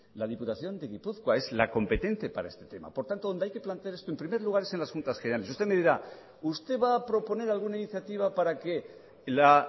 la diputación de gipuzkoa es la competencia para ese tema por tanto donde hay que plantear es en primer lugar en las juntas generales y usted me dirá usted va a proponer alguna iniciativa para que la